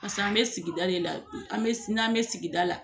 an bɛ sigida de la n'an bɛ sigida la